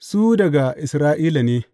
Su daga Isra’ila ne!